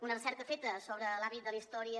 una recerca feta sobre l’àmbit de la història